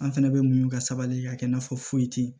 An fɛnɛ bɛ muɲu ka sabali ka kɛ i n'a fɔ foyi tɛ yen